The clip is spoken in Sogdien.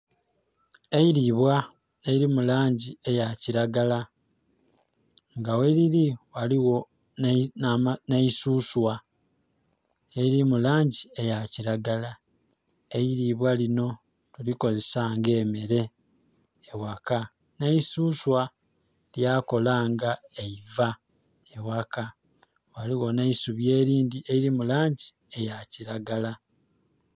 Eiribwa eriri mulangi eyakiragala nga gheriri ghaligho n'eisuswa eriri mulangi eyakiragala. Eiribwa lino tulikozisa nga emere eghaka n'eisuswa lyakola nga eiva eghaka, ghaligho n'eisubi erindhi eriri mulangi eyakiragala.